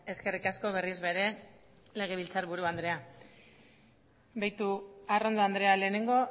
eskerrik asko berriz ere legebiltzarburu andrea begiratu arrondo andrea lehenengo